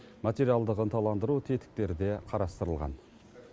материалдық ынталандыру тетіктері де қарастырылған